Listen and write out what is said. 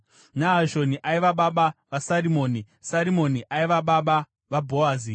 Nahashoni aiva baba vaSarimoni, Sarimoni ari baba vaBhoazi,